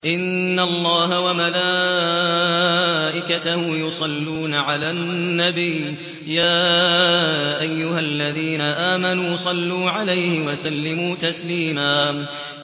إِنَّ اللَّهَ وَمَلَائِكَتَهُ يُصَلُّونَ عَلَى النَّبِيِّ ۚ يَا أَيُّهَا الَّذِينَ آمَنُوا صَلُّوا عَلَيْهِ وَسَلِّمُوا تَسْلِيمًا